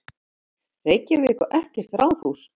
Reykjavík á ekkert ráðhús.